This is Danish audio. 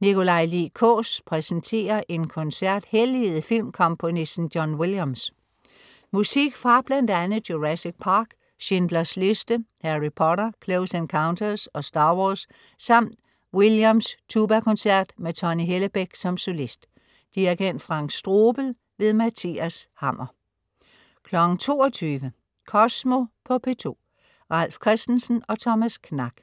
Nikolaj Lie Kaas præsenterer en koncert helliget filmkomponisten John Williams. Musik fra bl.a. Jurassic Park, Schindler's List, Harry Potter, Close Encounters og Star Wars samt Williams Tubakoncert med Tonni Hellebek som solist. Dirigent: Frank Strobel. Mathias Hammer 22.00 Kosmo på P2. Ralf Christensen og Thomas Knak